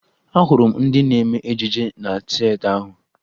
Ahụrụ m ndị na-eme ejije na tieta ahụ